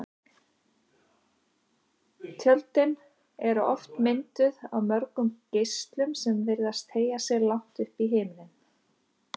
Tjöldin eru oft mynduð af mörgum geislum sem virðast teygja sig langt upp í himininn.